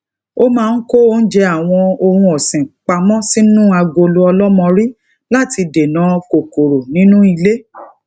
ó máa ń kó oúnjẹ àwọn ohun òsìn pa mó sínú agolo olomori lati dena kòkòrò ninu ile